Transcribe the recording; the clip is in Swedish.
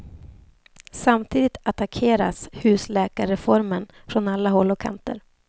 Samtidigt attackeras husläkarreformen från alla håll och kanter.